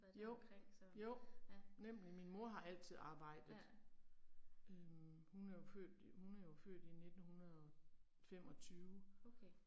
Jo, jo, nemlig, min mor har altid arbejdet. Øh, hun er jo født, hun er jo født i 1925